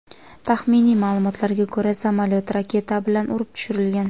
Taxminiy ma’lumotlarga ko‘ra, samolyot raketa bilan urib tushirilgan.